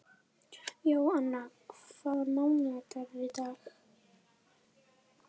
Jóanna, hvaða mánaðardagur er í dag?